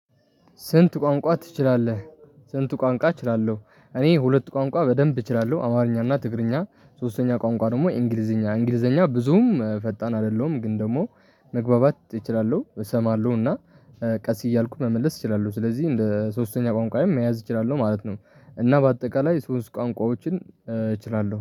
ስንት ቋንቋ ትችላለህ? ስንት ቋንቋ እችላለሁ? እኔ ሁለት ቋንቋ በደንብ እችላለሁ አማርኛ እና ትግርኛ። ሶስተኛ ቋንቋ ደግሞ እንግሊዘኛ እንግሊዘኛ ብዙም ፈጣን አይደለሁም ግን ደግሞ መግባባት እችላለሁ እሰማለሁ እና ቀስ እያልኩ መመለስ እችላለሁ ስለዚህ እንደ ሶስተኛ ቋንቋዬም መያዝ እችላለሁ ማለት ነው። እና በአጠቃላይ ሶስት ቋንቋዎችን እችላለሁ